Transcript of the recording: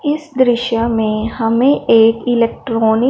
इस दृश्य में हमें एक इलेक्ट्रॉनिक --